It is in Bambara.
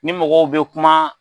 Ni mɔgɔw bɛ kuma